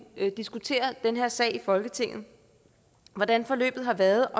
diskuterer den her sag i folketinget hvordan forløbet har været